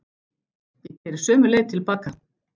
Ég keyri sömu leið til baka.